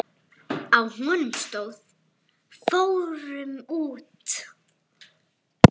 Á honum stóð: Fórum út!